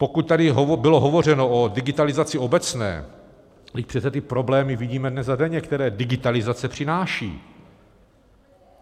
Pokud tady bylo hovořeno o digitalizaci obecné, vždyť přece ty problémy vidíme dnes a denně, které digitalizace přináší.